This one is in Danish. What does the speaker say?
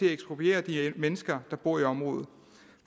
ekspropriere de mennesker der bor i området